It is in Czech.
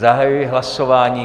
Zahajuji hlasování.